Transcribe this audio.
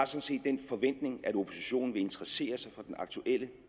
set den forventning at oppositionen vil interessere sig for den aktuelle